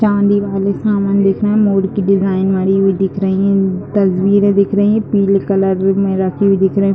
चाँदी वाले सामान दिख रहे है मोर की डिज़ाइन बनी हुई दिख रही तस्वीरें दिख रही पीले कलर में रखी हुई दिख रही --